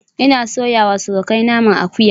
Ina soyawa surukai naman akuya